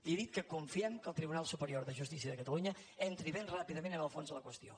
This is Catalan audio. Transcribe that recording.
li he dit que confiem que el tribunal superior de jus·tícia de catalunya entri ben ràpidament en el fons de la qüestió